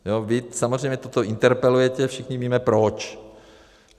Vy samozřejmě toto interpelujete, všichni víme proč.